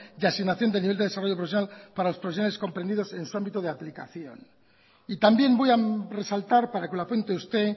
de asignación del nivel de desarrollo profesional para las profesionales comprendidos en su ámbito de aplicación y también voy a resaltar para que lo apunte usted